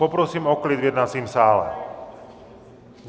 Poprosím o klid v jednacím sále!